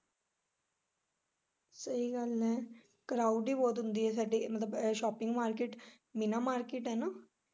ਸਹੀ ਗੱਲ ਐ crowd ਹੀ ਬਹੁਤ ਹੁੰਦੀ ਸਾਡੇ ਮਤਲਬ shopping market ਬਿਨਾਂ market ਐ ਨਾ।